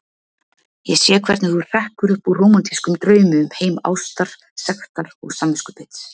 Ég sé hvernig þú hrekkur upp úr rómantískum draumi um heim ástar, sektar og samviskubits.